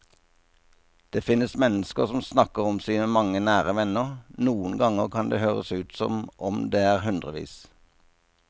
Det finnes mennesker som snakker om sine mange nære venner, noen ganger kan det høres ut som om det er hundrevis.